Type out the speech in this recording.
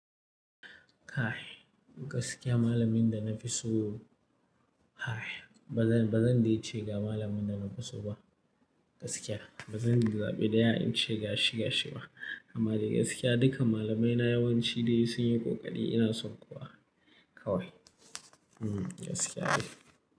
Kae gaskiya malamin da na fi so, kae ba zan, ba zan dece ga malamin da na fi so ba gaskiya. Ba zan zaɓi ɗaya in ce ga shi gashi ba amma da gaskiya duka malamaina yawanci dai sun yi ƙoƙari ina son kowa kawai. Hmm gaskiya ne.